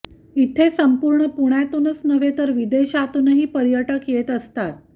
इथे संपूर्ण पुण्यातूनच नव्हे तर विदेशातूनही पर्यटक येत असतात